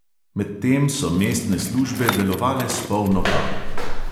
Medtem so mestne službe delovale s polno paro.